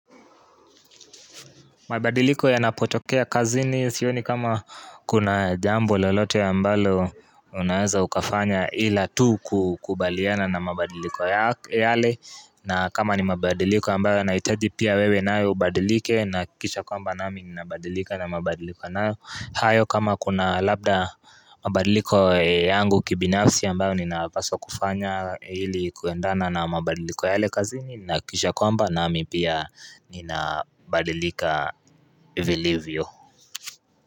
Mabadiliko yanapotokea kazini sioni kama kuna jambo lolote ambalo unaeza ukafanya ila tu kukubaliana na mabadiliko yale. Na kama ni mabadiliko ambayo yanahitaji pia wewe nawe ubadilike na kisha kwamba nami ninabadilika na mabadiliko nayo. Hayo kama kuna labda mabadiliko yangu kibinafsi ambayo ninapaswa kufanya ili kuendana na mabadiliko yale kazini nahakisha kwamba nami pia ninabadilika vilivyo.